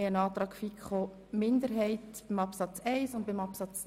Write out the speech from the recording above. Hier liegen Anträge einer FiKo-Minderheit zu den Absätzen 1 und 2 vor.